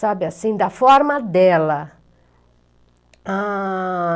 Sabe, assim, da forma dela.